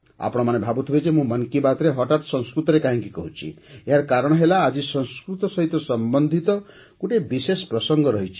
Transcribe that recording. ଆପଣମାନେ ଭାବୁଥିବେ ଯେ ମୁଁ 'ମନ୍ କି ବାତ୍'ରେ ହଠାତ୍ ସଂସ୍କୃତରେ କାହିଁକି କହୁଛି ଏହାର କାରଣ ହେଲା ଆଜି ସଂସ୍କୃତ ସହ ସମ୍ବନ୍ଧିତ ଗୋଟିଏ ବିଶେଷ ପ୍ରସଙ୍ଗ